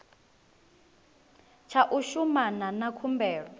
tsha u shumana na khumbelo